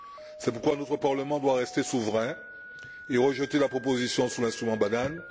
C'est pourquoi notre Parlement doit rester souverain et rejeter la proposition sur l'instrument bananes.